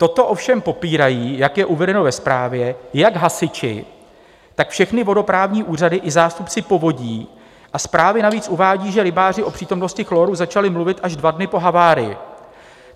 Toto ovšem popírají, jak je uvedeno ve zprávě, jak hasiči, tak všechny vodoprávní úřady i zástupci povodí, a zprávy navíc uvádí, že rybáři o přítomnosti chloru začali mluvit až dva dny po havárii.